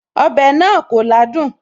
Ọbẹ̀ náà kò ládùn